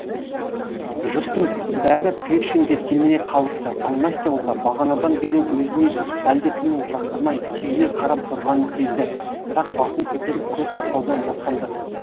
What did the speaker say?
жұрттың бәрі першинге телміре қалыпты ал настя болса бағанадан бері өзіне әлдекімнің жақтырмай түйіле қарап тұрғанын сезді бірақ басын көтеріп көз тастаудан жасқанды